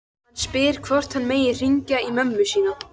Hann spyr hvort hann megi hringja í mömmu sína.